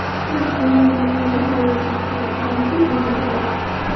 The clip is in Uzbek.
To‘liq bo‘lmagan oilada voyaga yetgan Bollivud yulduzlari.